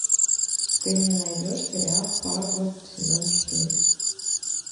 ты мне найдешь сериал фарго сезон четыре